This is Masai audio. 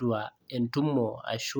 duo